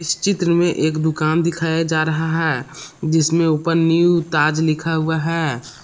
चित्र में एक दुकान दिखाया जा रहा है जिसमें ऊपर न्यू ताज लिखा हुआ है।